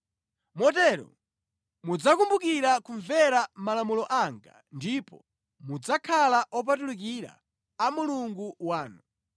Motero mudzakumbukira kumvera malamulo anga ndipo mudzakhala opatulikira a Mulungu wanu.